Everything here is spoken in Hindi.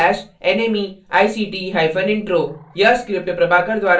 यह स्क्रिप्ट प्रभाकर द्वारा अनुवादित है आई आई टी मुंबई की ओर से मैं यश वोरा अब आपसे विदा लेता हूँ